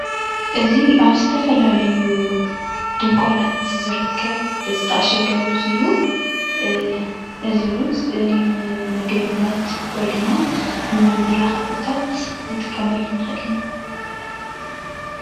እዚ ኣብ ዝተፈላለዩ ድንኳናት ዝርከብ ዝተዓሸገ ሩዝ እዩ፡፡ እዚ ሩዝ ንምግብነት ወይ ድማ ንመመላኪዒታት ክንጥቀመሉ ንክእል ኢና፡፡